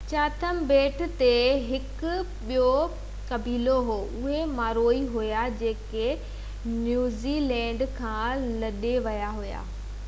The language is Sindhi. چاٿم ٻيٽ تي هڪ ٻيو قبيلو هو اهي مائوري هئا جيڪي نيوزي لينڊ کان لڏي ويا هئا